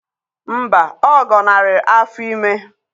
Mba, ọ gọnarị afọ ime